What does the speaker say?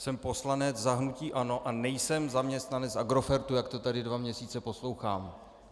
Jsem poslanec za hnutí ANO a nejsem zaměstnanec Agrofertu, jak to tady dva měsíce poslouchám.